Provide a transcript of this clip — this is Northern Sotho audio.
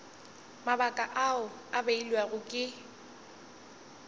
mabaka ao a beilwego ke